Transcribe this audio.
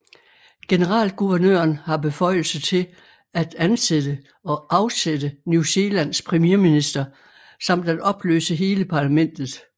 Generalguvernøren har beføjelse til at ansætte og afsætte New Zealands premierminister samt at opløse hele parlamentet